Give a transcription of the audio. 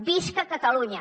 visca catalunya